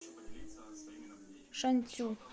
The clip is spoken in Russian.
шанцю